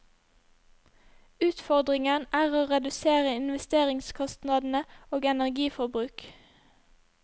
Utfordringen er å redusere investeringskostnadene og energiforbruk.